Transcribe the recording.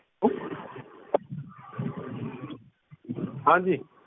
ਹਾਂਜੀ